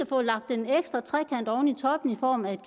få lagt en ekstra trekant oven i toppen i form af